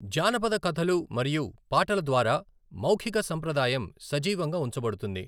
జానపద కథలు మరియు పాటల ద్వారా మౌఖిక సంప్రదాయం సజీవంగా ఉంచబడుతుంది.